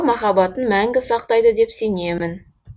махаббатын мәңгі сақтайды деп сенемін